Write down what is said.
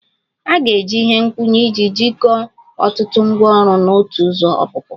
A ga-eji ihe nkwụnye iji jikọọ ọtụtụ ngwaọrụ na otu ụzọ ọpụpụ